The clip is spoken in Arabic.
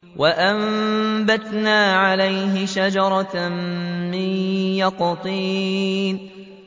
وَأَنبَتْنَا عَلَيْهِ شَجَرَةً مِّن يَقْطِينٍ